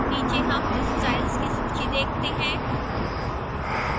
नीचे हम styles की सूची देखते हैं